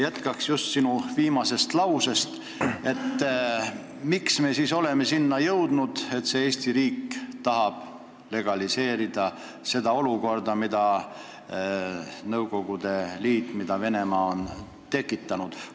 Jätkan just sinu viimasest lausest, et miks me siis oleme selleni jõudnud, et Eesti riik tahab legaliseerida olukorda, mille Nõukogude Liit, mille Venemaa on tekitanud.